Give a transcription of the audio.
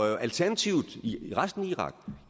er alternativet i resten af irak